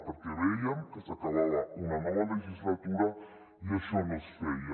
perquè vèiem que s’acabava una nova legislatura i això no es feia